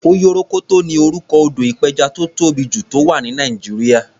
Oyorokoto ni orúkọ odò ìpẹjà tó tóbì jù, tó wà ní Nàìjíríà.